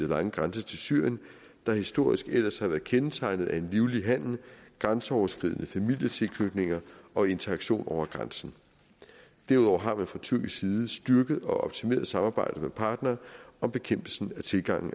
lange grænse til syrien der historisk ellers har været kendetegnet af en livlig handel grænseoverskridende familietilknytninger og interaktion over grænsen derudover har man fra tyrkisk side styrket og optimeret samarbejdet med partnere om bekæmpelsen af tilgangen